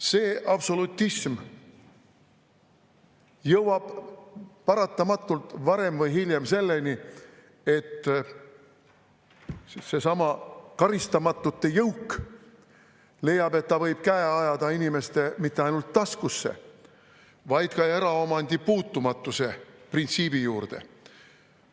See absolutism jõuab paratamatult varem või hiljem selleni, et seesama karistamatute jõuk leiab, et ta võib käe ajada inimeste mitte ainult taskusse, vaid ka eraomandi puutumatuse printsiibi juurde.